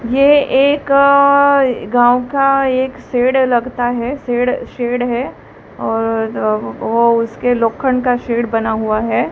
ये एक गांव का एक शेड लगता है शेड शेड है और वह उसके लोक्खन का शेड बना हुआ है।